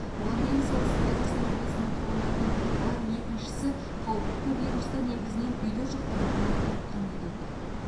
бұған дейін солтүстік қазақстан облысының тұрғындарының әр екіншісі қауіпті вирусты негізінен үйде жұқтыратынын айтқан едік